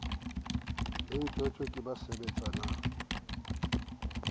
le ntjhotjho ke ba sebetsanang